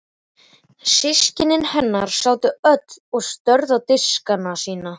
Systkini hennar sátu öll og störðu á diskana sína.